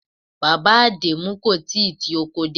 Bàbá Adẹmu kò tíì ti oko dé.